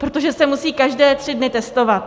Protože se musí každé tři dny testovat.